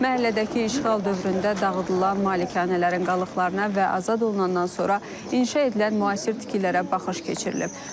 Məhəllədəki işğal dövründə dağıdılan malikanələrin qalıqlarına və azad olunandan sonra inşa edilən müasir tikililərə baxış keçirilib.